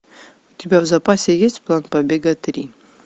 у тебя в запасе есть план побега три